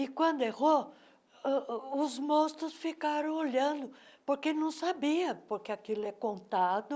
E quando errou uh, os monstros ficaram olhando, porque não sabiam, porque aquilo é contado.